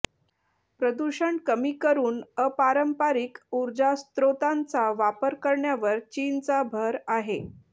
प्रदूषण कमी करून अपारंपारिक उर्जास्रोतांचा वापर करण्यावर चीनचा भर आहे